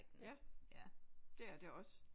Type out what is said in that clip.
Ja det er det også